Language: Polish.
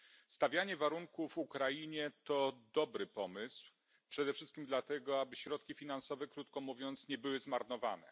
Stawianie warunków Ukrainie to dobry pomysł, przede wszystkim dlatego, aby środki finansowe krótko mówiąc nie były zmarnowane.